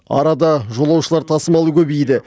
арада жолаушылар тасымалы көбейді